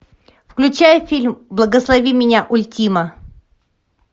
включай фильм благослови меня ультима